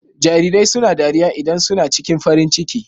Jarirai suna dariya idan su na ciki farin ciki.